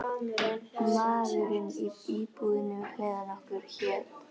Maðurinn í íbúðinni við hliðina á okkur hét